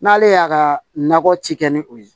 N'ale y'a ka nakɔ ci kɛ ni o ye